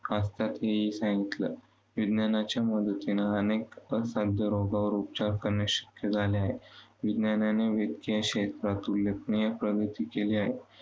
असतात हेही सांगितलं. विज्ञानाच्या मदतीने अनेक असाध्य रोगांवर उपचार करणे शक्य झाले आहे, विज्ञानाने इतक्या क्षेत्रांत उल्लेखनीय प्रगती केली आहे.